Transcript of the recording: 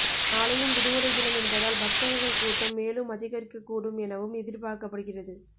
நாளையும் விடுமுறை தினம் என்பதால் பக்தர்கள் கூட்டம் மேலும் அதிகரிக்க கூடும் எனவும் எதிர்பார்க்கப்படுகிறது